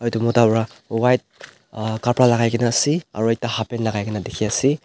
etu mota bra white uh kapra lakai kena ase aro ekta hap pant lakai kena ase.